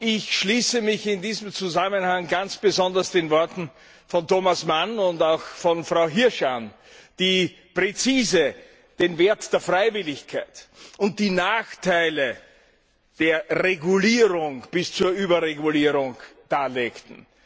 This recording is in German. Ich schließe mich in diesem Zusammenhang ganz besonders den Worten von Thomas Mann und auch von Frau Hirsch an, die präzise den Wert der Freiwilligkeit und die Nachteile der Regulierung bis zur Überregulierung darlegten.